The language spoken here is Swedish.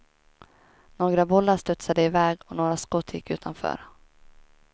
Några bollar studsade iväg och några skott gick utanför.